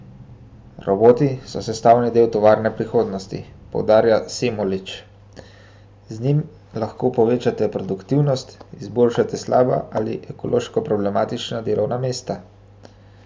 Roboti so sestavni del tovarne prihodnosti, poudarja Semolič: "Z njim lahko povečate produktivnost, izboljšate slaba ali ekološko problematična delovna mesta.